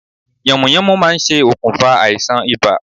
Yànmùyánmú ma n se okùnfà àisàn ibà